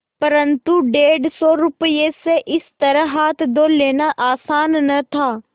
परन्तु डेढ़ सौ रुपये से इस तरह हाथ धो लेना आसान न था